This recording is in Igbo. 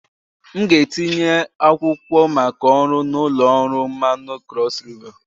M ga-etinye akwụkwọ maka ọrụ na ụlọ ọrụ mmanụ na Cross river